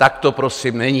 Tak to prosím není.